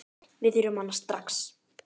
Við þurfum hana strax.